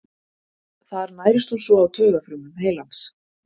Þar nærist hún svo á taugafrumum heilans.